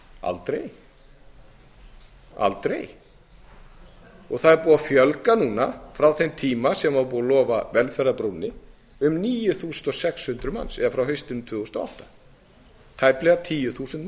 aldrei það er búið að fjölga núna frá þeim tíma sem var búið að lofa velferðarbrúnni um níu þúsund sex hundruð manns eða frá haustinu tvö þúsund og átta tæplega tíu þúsund